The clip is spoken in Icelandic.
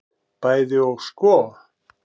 Bæði og sko.